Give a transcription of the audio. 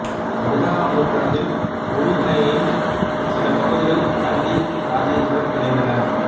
பதினாறாம் நூற்றாண்டில் உருகுணையின் சில பகுதிகள் கண்டி இராச்சியத்துடன் இணைந்தன